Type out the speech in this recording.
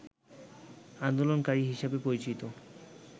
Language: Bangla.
আন্দোলনকারী হিসেবে পরিচিত